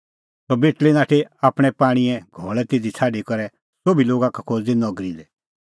सह बेटल़ी नाठी आपणैं पाणींए घल़ै तिधी छ़ाडी करै सोभी लोगा का खोज़दी नगरी लै